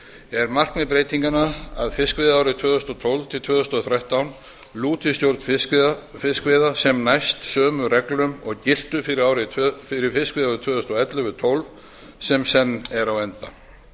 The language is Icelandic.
er markmið breytinganna að fiskveiðiárið tvö þúsund og tólf til tvö þúsund og þrettán lúti stjórn fiskveiða sem hæst sömu reglum og giltu fyrir fiskveiðiárin tvö þúsund og ellefu til tvö þúsund og tólf sem er á enda